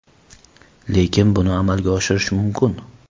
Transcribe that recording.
Lekin buni amalga oshirish mumkin.